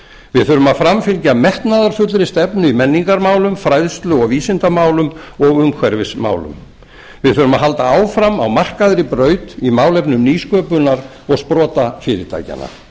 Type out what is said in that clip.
við þurfum að framfylgja metnaðarfullri stefnu í menningarmálum fræðslu og vísindamálum og umhverfismálum við þurfum að halda áfram á markaðri braut í málefnum nýsköpunar og sprotafyrirtækjanna